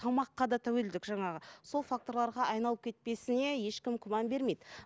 тамаққа да тәуелділік жаңағы сол факторларға айналып кетпесіне ешкім күмән бермейді